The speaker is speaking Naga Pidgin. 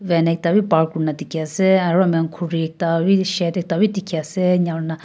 van ekta bhi paar kurina dekhey ase aro ami khan khuri ekta bhi shade ekta bhi dekhey ase enika hoina--